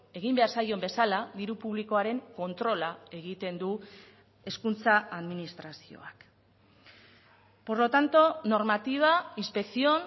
egin behar zaion bezala diru publikoaren kontrola egiten du hezkuntza administrazioak por lo tanto normativa inspección